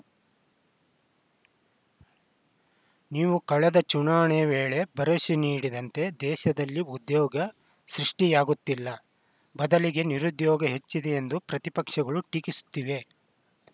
ನೀವು ಕಳೆದ ಚುನಾಣೆಯ ವೇಳೆ ಪರಸೆ ನೀಡಿದಂತೆ ದೇಶದಲ್ಲಿ ಉದ್ಯೋಗ ಸೃಷ್ಟಿಯಾಗುತ್ತಿಲ್ಲ ಬದಲಿಗೆ ನಿರುದ್ಯೋಗ ಹೆಚ್ಚಿದೆ ಎಂದು ಪ್ರತಿಪಕ್ಷಗಳು ಟೀಕಿಸುತ್ತಿವೆ